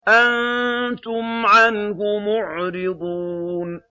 أَنتُمْ عَنْهُ مُعْرِضُونَ